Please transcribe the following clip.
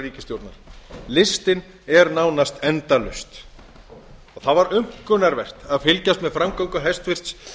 ríkisstjórnar listinn er nánast endalaus það var aumkunarvert að fylgjast með framgöngu hæstvirtur